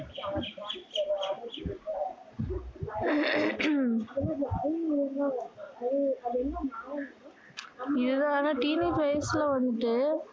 இது தான் ஆனா teenage வயசுல வந்துட்டு